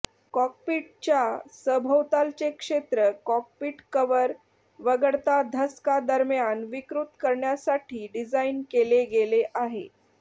कॉकपिटच्या सभोवतालचे क्षेत्र cockpit cover वगळता धसका दरम्यान विकृत करण्यासाठी डिझाइन केले गेले आहे